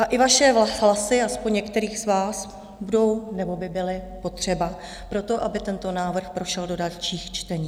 A i vaše hlasy, aspoň některých z vás, budou nebo by byly potřeba pro to, aby tento návrh prošel do dalších čtení.